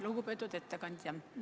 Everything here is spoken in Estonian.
Lugupeetud ettekandja!